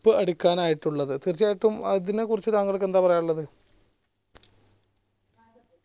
അടിക്കാനായിട്ടുള്ളത് തീർച്ചയായിട്ടും അതിനെ കുറിച്ചു തങ്ങൾക്കെന്താ പറയാനുള്ളത്